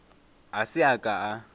a se a ka a